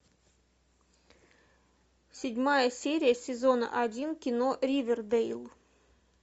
седьмая серия сезона один кино ривердейл